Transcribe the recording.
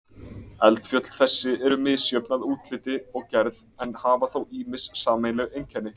Eldfjöll þessi eru misjöfn að útliti og gerð en hafa þó ýmis sameiginleg einkenni.